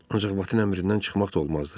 Ancaq Batın əmrindən çıxmaq da olmazdı.